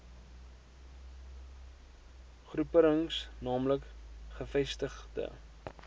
groeperings naamlik gevestigde